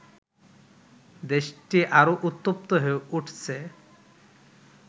দেশটি আরো উত্তপ্ত হয়ে উঠছে